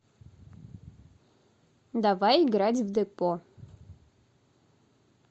давай играть в депо